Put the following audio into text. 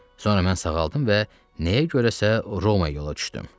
Sonra mən sağaldım və nəyə görəsə Roma yola düşdüm.